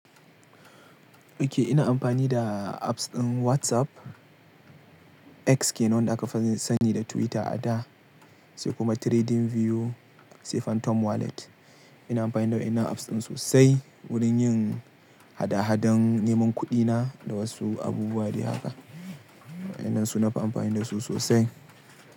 Okay, ina amfani da apps ɗin WhatsApp, X ke nawa da aka sani da Twitter a da, sai kuma TradingView sai Phantom Wallet. Ina amfani da waɗannan apps ɗin sosai, wurin yin hada-hadan neman kuɗina da wasu abubuwa dai haka. Waɗannan su nafi amfani da su sosai.